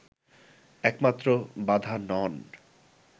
একমাত্র বাধা নন”